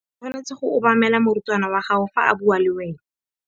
O tshwanetse go obamela morutabana wa gago fa a bua le wena.